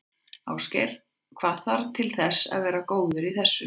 Ásgeir: Og hvað þarf til þess að vera góður í þessu?